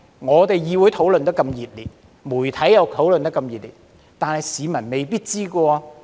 儘管議會討論得那麼熱烈，媒體亦討論得很熱烈，但市民是未必知道的。